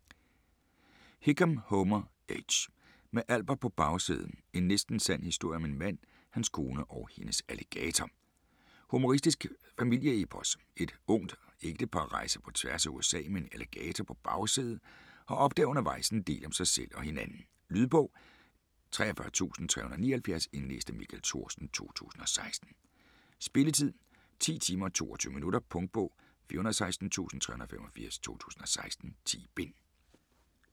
Hickam, Homer H.: Med Albert på bagsædet: en næsten sand historie om en mand, hans kone og hendes alligator Humoristisk familieepos. Et ungt ægtepar rejser på tværs af USA med en alligator på bagsædet og opdager undervejs en del om sig selv og hinanden. Lydbog 43379 Indlæst af Michael Thorsen, 2016. Spilletid: 10 timer, 22 minutter. Punktbog 416385 2016. 10 bind.